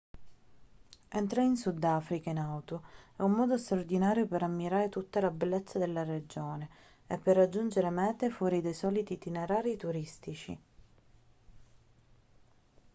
entrare in sudafrica in auto è un modo straordinario per ammirare tutta la bellezza della regione e per raggiungere mete fuori dai soliti itinerari turistici